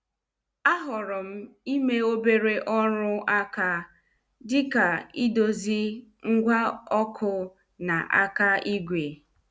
A horom ime obere ọrụ aka dịka idozi ngwa ọkụ na aka ìgwè.